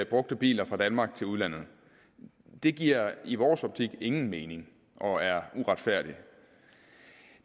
brugte biler fra danmark til udlandet det giver i vores optik ingen mening og er uretfærdigt